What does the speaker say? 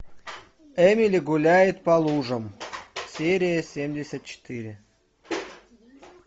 эмили гуляет по лужам серия семьдесят четыре